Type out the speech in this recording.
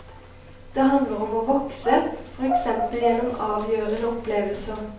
Det handler om å vokse, for eksempel gjennom avgjørende opplevelser.